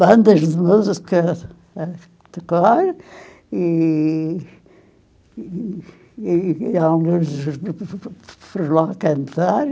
bandas de música a tocar, e e e e alguns dos grupos fo fo foram lá cantar.